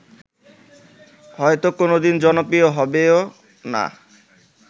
হয়ত কোনদিন জনপ্রিয় হবেও না